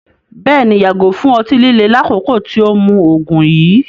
Bẹ́ẹ̀ni, yàgò fún ọ̀tí-lílè lákòkó tì o mú oogun yìí